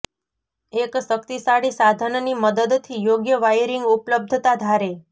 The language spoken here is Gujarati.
એક શક્તિશાળી સાધન ની મદદથી યોગ્ય વાયરિંગ ઉપલબ્ધતા ધારે